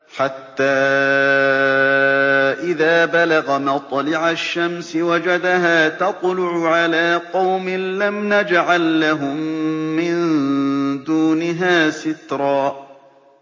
حَتَّىٰ إِذَا بَلَغَ مَطْلِعَ الشَّمْسِ وَجَدَهَا تَطْلُعُ عَلَىٰ قَوْمٍ لَّمْ نَجْعَل لَّهُم مِّن دُونِهَا سِتْرًا